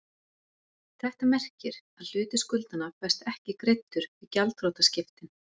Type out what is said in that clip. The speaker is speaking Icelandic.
Þetta merkir að hluti skuldanna fæst ekki greiddur við gjaldþrotaskiptin.